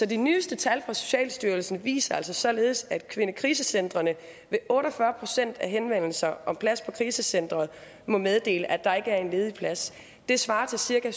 de nyeste tal fra socialstyrelsen viser altså således at kvindekrisecentrene ved otte og fyrre procent af henvendelserne om plads på krisecenteret må meddele at der ikke er en ledig plads det svarer til cirka